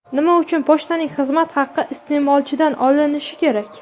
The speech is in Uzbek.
Nima uchun pochtaning xizmat haqi iste’molchidan olinishi kerak?